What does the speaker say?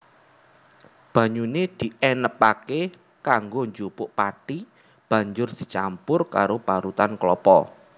Banyune dienebake kanggo njupuk pathi Banjur dicampur karo parutan klapa